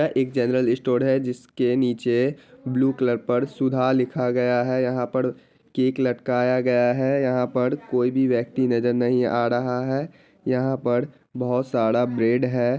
ये एक general store है जिसके नीचे ब्लू कलर पर सुधा लिखा गया है| यहां पर केक लटकाया गया है| यहां पर कोई भी व्यक्ति नजर नही आ रहा है| यहां पर बहुत सारा ब्रेड है।